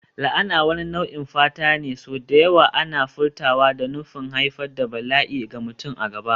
La'ana wani nau'in fata ne, sau da yawa ana furtawa da nufin haifar da bala'i ga mutum a gaba.